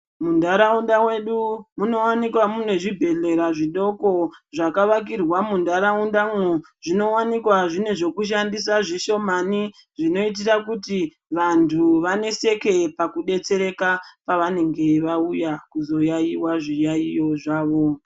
Muntaraunda mwedu munowanikwa mune zvibhedhlera zvidoko zvakavakirwa muntaraundamwo zvinowanikwa zvine zvokushandisa zvishomani zvinoitira kuti vanthu vaneseke pakudetsereka pavanenge vauya kuzoyaiya zviyaeyo zvavo.